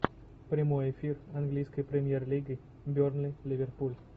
прямой эфир английской премьер лиги бернли ливерпуль